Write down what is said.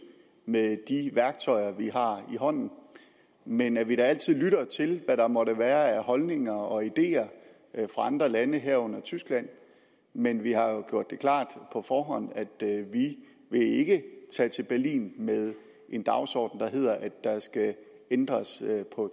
med de værktøjer vi har i hånden men at vi da altid lytter til hvad der måtte være af holdninger og ideer fra andre lande herunder tyskland men vi har jo gjort det klart på forhånd at vi ikke tage til berlin med en dagsorden der hedder at der skal ændres